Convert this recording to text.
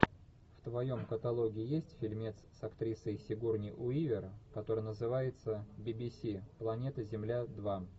в твоем каталоге есть фильмец с актрисой сигурни уивер который называется би би си планета земля два